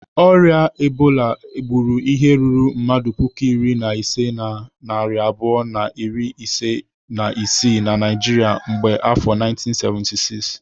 Orịa Ebola gburu ihe ruru mmadụ puku iri na ise na narị abụọ na iri ise na isii na Naijiria kemgbe afọ 1976.